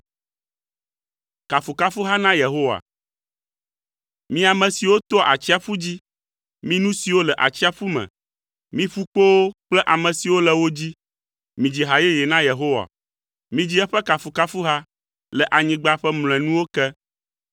Mi ame siwo toa atsiaƒu dzi, mi nu siwo le atsiaƒu me, mi ƒukpowo kple ame siwo le wo dzi, midzi ha yeye na Yehowa. Midzi eƒe kafukafuha le anyigba ƒe mlɔenuwo ke.